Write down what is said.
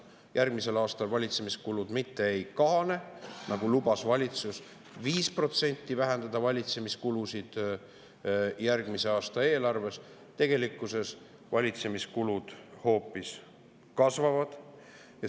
Järgmisel aastal valitsemiskulud mitte ei kahane, kuigi valitsus lubas järgmise aasta eelarves valitsemiskulusid 5% vähendada, tegelikkuses valitsemiskulud hoopis kasvavad.